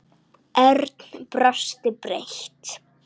Örn brosti breitt.